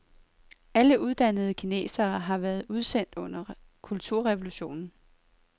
Alle uddannede kinesere har været udsendt under kulturrevolutionen.